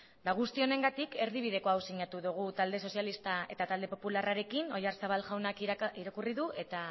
eta guzti honengatik erdibideko hau sinatu dugu talde sozialista eta talde popularrarekin oyarzabal jaunak irakurri du eta